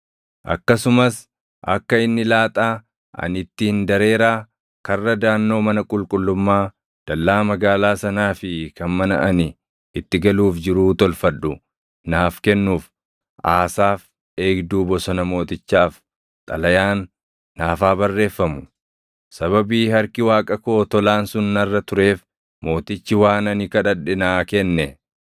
Akkasumas akka inni laaxaa ani ittiin dareeraa karra daʼannoo mana qulqullummaa, dallaa magaalaa sanaa fi kan mana ani itti galuuf jiruu tolfadhu naaf kennuuf Aasaaf eegduu bosona mootichaaf xalayaan naaf haa barreeffamu.” Sababii harki Waaqa koo tolaan sun narra tureef mootichi waan ani kadhadhe naa kenne.